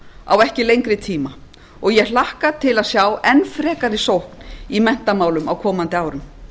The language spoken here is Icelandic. á ekki lengri tíma og ég hlakka til að sjá enn frekari sókn í menntamálum á komandi árum